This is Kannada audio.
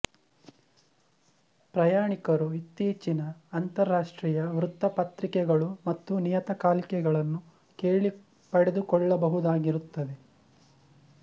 ಪ್ರಯಾಣಿಕರು ಇತ್ತೀಚಿನ ಅಂತರರಾಷ್ಟ್ರೀಯ ವೃತ್ತಪತ್ರಿಕೆಗಳು ಮತ್ತು ನಿಯತಕಾಲಿಕೆಗಳನ್ನು ಕೇಳಿ ಪಡೆದುಕೊಳ್ಳಬಹುದಾಗಿರುತ್ತದೆ